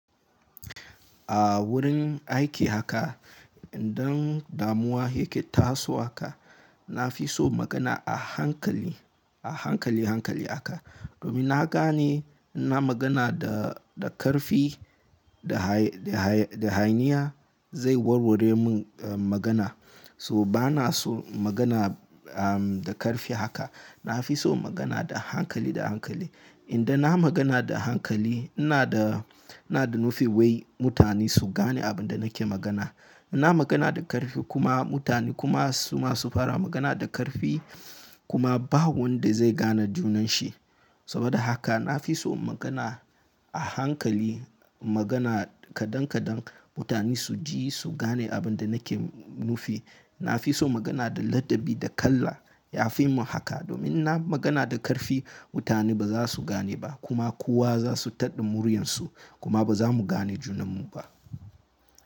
A wurin aiki haka idan damuwa yake tasowa haka, na fi so magana a hankali, a hankali hankali haka. Domin na gane in na magana da, da karfi, da haye, da haye, da hayaniya zai warware min, eh, magana. So ba na so magana, ah, da karfi haka. Na fi so magana da hankali da hankali. Idan na magana da hankali ina da, ina da nufin wai mutane su gane abin da nake magana. In na magana da karfi kuma mutane kuma su ma su fara magana da karfi kuma ba wanda zai gane junan shi. Saboda haka na fi so magana a hankali. Magana kadan kadan mutane su ji, su gane abin da nake nufi. Na fi so magana da ladabi da kala. Ya fi mun haka domin in na magana da karfi mutane ba za su gane ba kuma kowa za su taɗa muryar su kuma ba za mu gane junan mu ba.